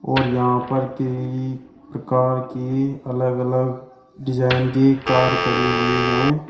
और यहां पर केई प्रकार के अलग अलग डिजाइन के कार खड़ी हुई है।